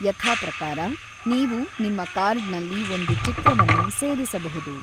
ಯಥಾಪ್ರಕಾರ, ನೀವು ನಿಮ್ಮ ಕಾರ್ಡ್ನಲ್ಲಿ ಒಂದು ಚಿತ್ರವನ್ನು ಸೇರಿಸಬಹುದು.